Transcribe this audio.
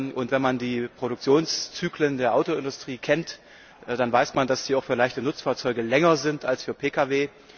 Und wenn man die Produktionszyklen der Autoindustrie kennt, dann weiß man, dass sie auch für leichte Nutzfahrzeuge länger sind als für Pkw.